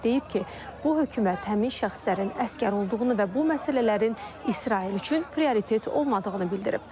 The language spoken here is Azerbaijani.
Deyib ki, bu hökumət həmin şəxslərin əsir olduğunu və bu məsələlərin İsrail üçün prioritet olmadığını bildirib.